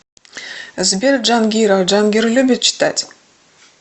сбер джангиров джангир любит читать